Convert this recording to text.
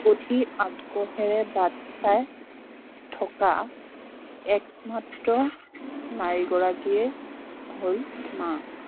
অধীৰ আগ্ৰহেৰে বাট চাই থকা একমাত্ৰ নীৰী গৰাকীয়ে হল মা